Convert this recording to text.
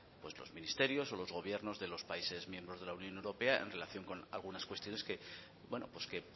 los ministerios o los gobiernos de los países miembros de la unión europea en relación con algunas cuestiones que